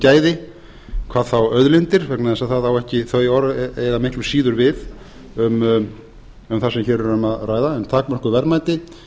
gæði hvað þá auðlindir vegna þess að þau orð eiga miklu síður við um það sem hér er um að ræða en takmörkuð verðmæti